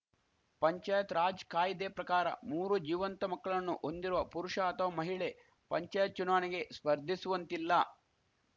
ಪಂಚಾಯತ್‌ ರಾಜ್‌ ಕಾಯ್ದೆ ಪ್ರಕಾರ ಮೂರು ಜೀವಂತ ಮಕ್ಕಳನ್ನು ಹೊಂದಿರುವ ಪುರುಷ ಅಥವಾ ಮಹಿಳೆ ಪಂಚಾಯತ್‌ ಚುನಾವಣೆಗೆ ಸ್ಪರ್ಧಿಸುವಂತಿಲ್ಲ